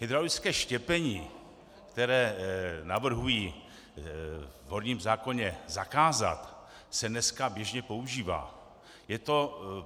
Hydraulické štěpení, které navrhují v horním zákoně zakázat, se dneska běžně používá.